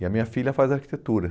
E a minha filha faz arquitetura.